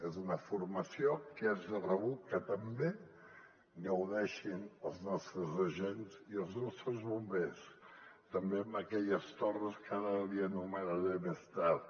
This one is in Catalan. és una formació que és de rebut que també en gaudeixin els nostres agents i els nostres bombers també en aquelles torres que ara li anomenaré més tard